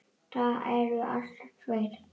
Það eru alltaf tveir